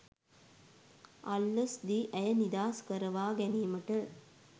අල්ලස් දී ඇය නිදහස් කරවාගැනීමට